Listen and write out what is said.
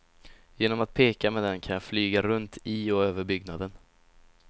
Genom att peka med den kan jag flyga runt i och över byggnaden.